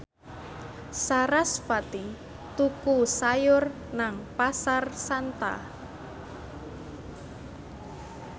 sarasvati tuku sayur nang Pasar Santa